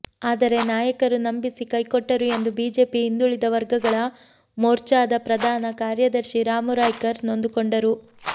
ಆದರೆ ನಾಯಕರು ನಂಬಿಸಿ ಕೈ ಕೊಟ್ಟರು ಎಂದು ಬಿಜೆಪಿ ಹಿಂದುಳಿದ ವರ್ಗಗಳ ಮೋರ್ಚಾದ ಪ್ರಧಾನ ಕಾರ್ಯದರ್ಶಿ ರಾಮು ರಾಯ್ಕರ್ ನೊಂದುಕೊಂಡರು